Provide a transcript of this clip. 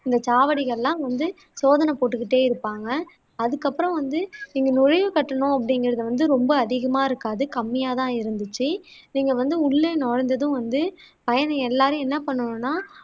இந்த சாவடிகள் எல்லாம் வந்து சோதனை போட்டுக்கிட்டே இருப்பாங்க அதுக்கப்பறம் வந்து இங்க நுழைவுக்கட்டணம் அப்படிகுறது வந்து ரொம்ப அதிகமா இருக்காது கம்மியா தான் இருந்துச்சு நீங்க வந்து உள்ளே நுழைஞ்சதும் வந்து பயணி எல்லாரும் என்ன பண்ணணும்னா